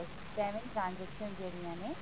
seven transaction ਜਿਹੜੀਆਂ ਨੇ